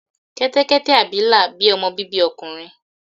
kẹtẹkẹtẹ abilà bí ọmọ bibi ọkùnrin.